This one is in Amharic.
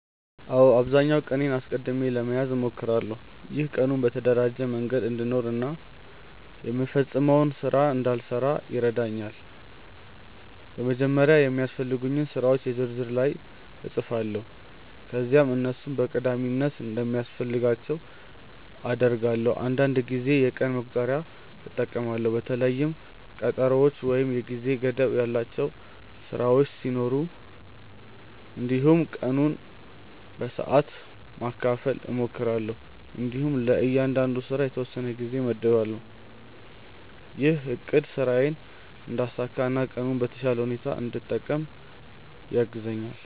አዎ፣ በአብዛኛው ቀኔን አስቀድሜ ለመያዝ እሞክራለሁ። ይህ ቀኑን በተደራጀ መንገድ እንድኖር እና የምፈጽመውን ስራ እንዳልረሳ ይረዳኛል። በመጀመሪያ የሚያስፈልጉኝን ስራዎች የ ዝርዝር ላይ እጻፋለሁ ከዚያም እነሱን በቀዳሚነት እንደሚያስፈልጋቸው እደርዳለሁ። አንዳንድ ጊዜ የቀን መቁጠሪያ እጠቀማለሁ በተለይም ቀጠሮዎች ወይም የጊዜ ገደብ ያላቸው ስራዎች ሲኖሩ። እንዲሁም ቀኑን በሰዓት ማካፈል እሞክራለሁ እንዲሁም ለእያንዳንዱ ስራ የተወሰነ ጊዜ እመድባለሁ። ይህ አቅድ ስራዬን እንዳሳካ እና ቀኑን በተሻለ ሁኔታ እንድጠቀም ያግዛኛል።